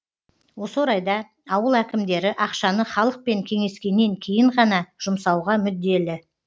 осы орайда ауыл әкімдері ақшаны халықпен кеңескеннен кейін ғана жұмсауға мүдделі